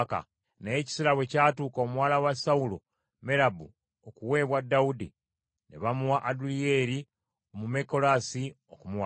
Naye ekiseera bwe kyatuuka omuwala wa Sawulo Merabu okuweebwa Dawudi, ne bamuwa Aduliyeri Omumekolasi okumuwasa.